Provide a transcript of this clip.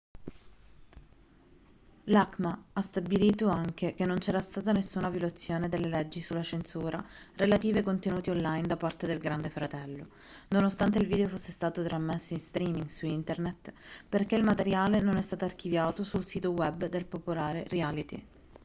l'acma ha stabilito anche che non c'era stata nessuna violazione delle leggi sulla censura relative ai contenuti onlin da parte del grande fratello nonostante il video fosse stato trasmesso in streaming su internet perché il materiale non è stato archiviato sul sito web del popolare reality